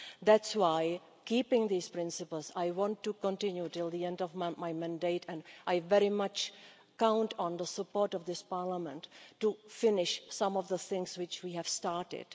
That is why, keeping these principles, I want to continue until the end of my mandate and I very much count on the support of this Parliament to finish some of the things which we have started.